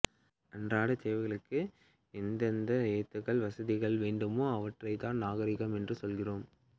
அன்றாடத் தேவைகளுக்கு எந்தெந்த ஏந்துகள் வசதிகள் வேண்டுமோ அவற்றைதான் நாகரிகம் என்று சொல்கிறோம்